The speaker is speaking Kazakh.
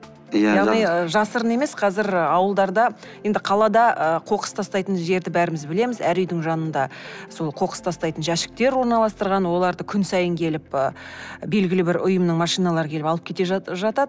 иә яғни жасырын емес қазір ауылдарда енді қалада ы қоқыс тастайтын жерді бәріміз білеміз әр үйдің жанында сол қоқыс тастайтын жәшіктер орналастырған оларды күн сайын келіп і белгілі бір ұйымның машиналары келіп алып кете жатады